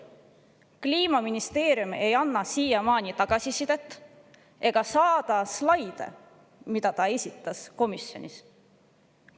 Kliimaministeerium ei ole andud siiamaani tagasisidet ega saatnud slaide, mida ta esitles komisjonis.